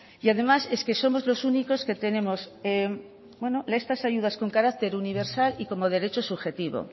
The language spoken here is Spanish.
y además es que somos los únicos que tenemos estas ayudas con carácter universal y como derecho subjetivo